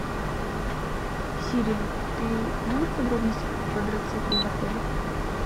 сири ты знаешь подробности про квадроциклы в отеле